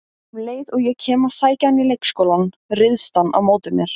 Um leið og ég kem að sækja hann í leikskólann, ryðst hann á móti mér